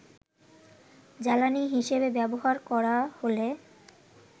জ্বালানী হিসেবে ব্যবহার করা হলে